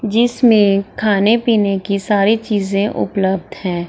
जिसमे खाने-पीने की सारी चीज उपलब्ध है।